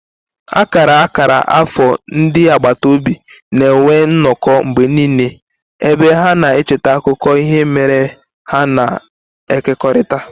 Akara akara afọ ndị agbata obi na-enwe nnọkọ mgbe niile, ebe ha na-echeta akụkọ ihe mere eme ha na-ekekọrịta.